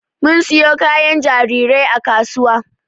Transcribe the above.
Mun siyo kayan jarirai a kasuwa